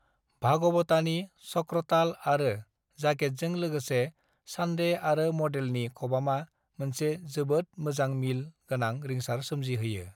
भागवतानि चक्रताल आरो जागेटजों लोगोसे चांडे आरो मडेलनि खबामा मोनसे जोबोद मोजां मिल गोनां रिंसार सोमजि होयो।